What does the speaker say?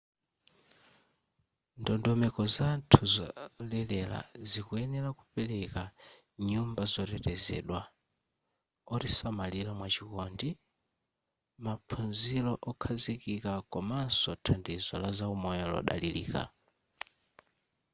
ndondomeko zathu zolelera zikuyenera kupereka nyumba zotetezedwa otisamalira mwachikondi maphunziro okhazikika komanso thandizo laza umoyo lodalirika